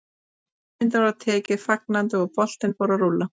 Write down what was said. Hugmyndinni var tekið fagnandi og boltinn fór að rúlla.